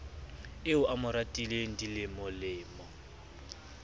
eo a mo ratileng dilemolemo